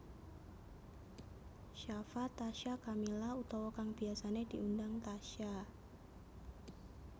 Shafa Tasya Kamila utawa kang biyasané diundang Tasya